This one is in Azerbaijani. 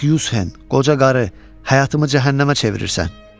Yank Yushen, qoca qarı, həyatımı cəhənnəmə çevirirsən.